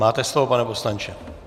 Máte slovo, pane poslanče.